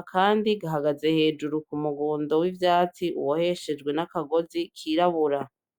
akandi gahagaze hejuru kumugundo w'ivyatsi ubohehejwe nakagozi kirabura